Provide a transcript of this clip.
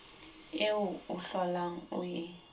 eo o hlolang o e